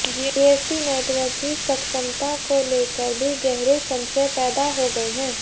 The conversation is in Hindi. जीएसटी नेटवर्क की सक्षमता को लेकर भी गहरे संशय पैदा हो गए हैं